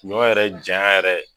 Ɲɔ yɛrɛ janya yɛrɛ